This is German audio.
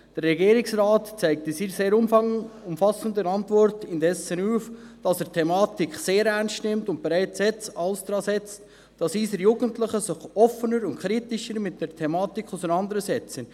Der Regierungsrat zeigt in seiner sehr umfassenden Antwort indessen auf, dass er die Thematik sehr ernst nimmt und bereits jetzt alles daransetzt, dass unsere Jugendlichen sich offener und kritischer mit der Thematik auseinandersetzen.